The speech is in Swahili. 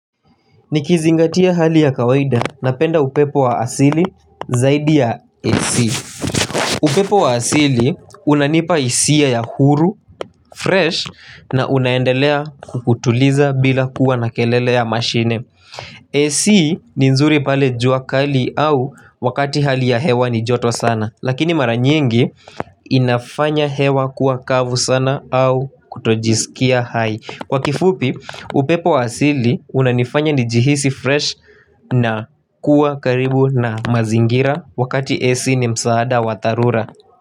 Nikizingatia hali ya kawaida napenda upepo wa asili zaidi ya AC. Upepo wa asili unanipa hisia ya huru, fresh na unaendelea kukutuliza bila kuwa na kelele ya mashine AC ni nzuri pale jua kali au wakati hali ya hewa ni joto sana. Lakini mara nyingi inafanya hewa kuwa kavu sana au kutojisikia hai. Kwa kifupi upepo wa asili unanifanya nijihisi fresh na kuwa karibu na mazingira wakati AC ni msaada wa dharura.